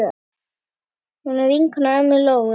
Hún var vinkona ömmu Lóu.